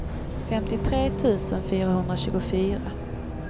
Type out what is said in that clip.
femtiotre tusen fyrahundratjugofyra